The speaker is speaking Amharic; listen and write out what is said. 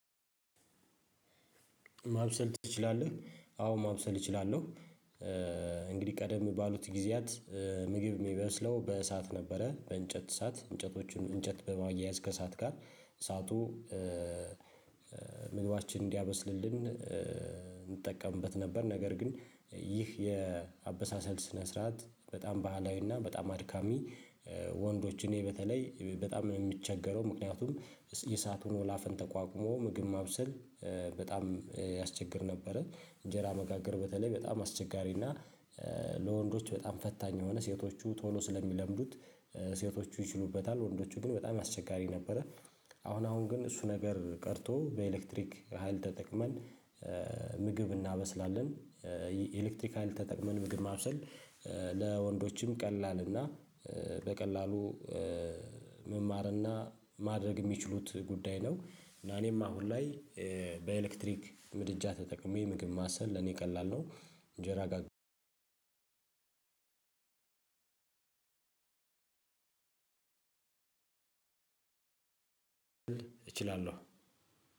ማብሰል ትችላለህ? አዎ ማብሰል እችላለሁ። እንግዲህ ቀደም ባሉት ጊዜያት። ምግብ የሚበስለው በእሳት ነበር በእንጨት እሳት እንጨቶችን እንጨት በማያያዝ ከእሳት ጋር እሳቱ ምግባችንን እንዲያበስልልን እንጠቀምበት ነበር። ነገር ግን ይህ የአበሳሰል ስነ ስርዓት በጣም ባህላዊና በጣም አድካሚ። ወንዶች እኔ በተለይ በጣም ነው የምቸገረው። ምክንያቱም የእሳቱን ወላፈን ተቋቁሞ ምግብ ማብሰል በጣም ያስቸግር ነበረ። እንጀራ መጋገር በተለይ በጣም አስቸጋሪ እና። ለወንዶች በጣም ፈታኝ የሆነ ሴቶቹ ቶሎ ስለሚለምዱት። ሴቶቹ ይችሉበታል ወንዶቹ ግን በጣም አስቸጋሪ ነበረ። አሁን አሁን ግን እሱ ነገር ቀርቶ በኤሌክትሪክ ሀይል ተጠቅመን ምግብ እናበስላለን። የኤሌክትሪክ ሀይል ተጠቅመን ምግብ ማብሰል። ለወንዶችም ቀላል እና በቀላሉ መማርና ማድረግ የሚችሉት ጉዳይ ነው። እና እኔም አሁን ላይ በኤሌክትሪክ ምድጃ ተጠቅሜ ምግብ ማብሰል ለኔ ቀላል ነው። እንጀራ ጋር እችላለሁ።